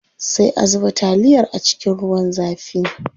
Sai a zuba taliyar a cikin ruwan zafin.